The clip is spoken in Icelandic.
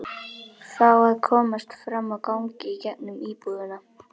Hér getur að líta tvo keimlíka ferðalanga í flughöfn lífsins.